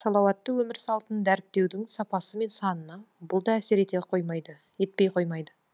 салауатты өмір салтын дәріптеудің сапасы мен санына бұл да әсер етпей қоймайды